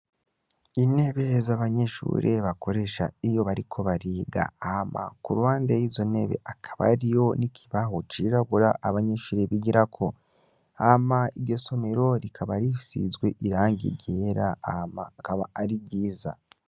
Inebe z'abanyishure bakoresha iyo bariko bariga ama ku rwande y'izonebe akaba ariyo nikibaho cirabura abanyishuri bigira ko ama igesomero rikaba rifizwe irang igera ama akaba ari riza.